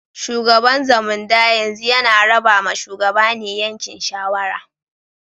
Shugaban Zamunda yanzu yana raba ma shugabane yankin shawara.